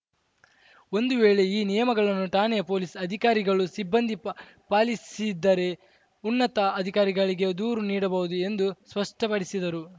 ಒಂದು ವೇಳೆ ಈ ನಿಯಮಗಳನ್ನು ಠಾಣೆಯ ಪೊಲೀಸ್‌ ಅಧಿಕಾರಿಗಳು ಸಿಬ್ಬಂದಿ ಪಾ ಪಾಲಿಸಿದ್ದರೆ ಉನ್ನತ ಅಧಿಕಾರಿಗಳಿಗೆ ದೂರು ನೀಡಬಹುದು ಎಂದು ಸ್ಪಷ್ಟಪಡಿಸಿದರು